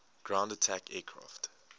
ground attack aircraft